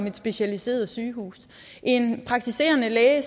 et specialiseret sygehus og en praktiserende læge